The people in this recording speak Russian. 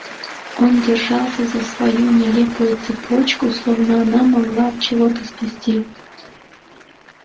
он держался за свою нелепую цепочку словно она могла от чего-то спасти